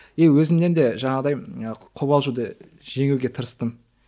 е өзімнен де жаңағындай ы қобалжуды жеңуге тырыстым